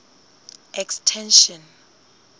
extension